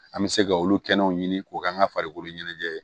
An bɛ se ka olu kɛnɛw ɲini k'o k'an ka farikolo ɲɛnajɛ